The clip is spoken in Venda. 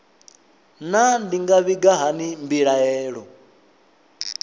naa ndi nga vhiga hani mbilaelo